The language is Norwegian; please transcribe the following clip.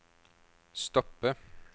stoppe